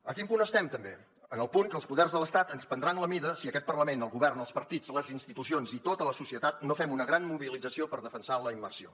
en quin punt estem també en el punt que els poders de l’estat ens prendran la mida si aquest parlament el govern els partits les institucions i tota la societat no fem una gran mobilització per defensar la immersió